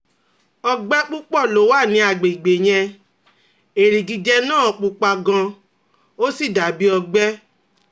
ọgbẹ́ púpọ̀ ló wà ní àgbègbè yẹn, erigijẹ́ naa pupa gan-an, ó sì dà bí ọgbẹ